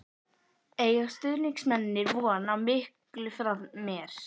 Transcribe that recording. Eiga stuðningsmennirnir von á miklu frá mér?